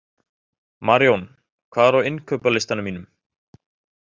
Marjón, hvað er á innkaupalistanum mínum?